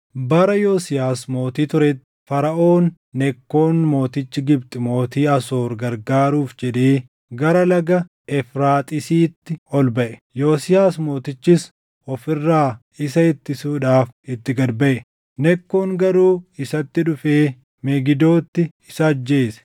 Bara Yosiyaas mootii turetti, Faraʼoon Nekkoon mootichi Gibxi mootii Asoor gargaaruuf jedhee gara Laga Efraaxiisitti ol baʼe. Yosiyaas mootichis of irraa isa ittisuudhaaf itti gad baʼe. Nekkoon garuu isatti dhufee Megidootti isa ajjeese.